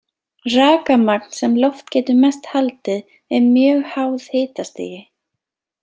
Rakamagn sem loft getur mest haldið er mjög háð hitastigi.